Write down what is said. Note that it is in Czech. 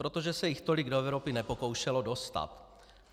Protože se jich tolik do Evropy nepokoušelo dostat.